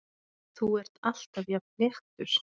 Þú ert alltaf jafn léttur!